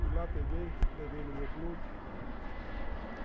Fui lá, peguei, levei no meu clube.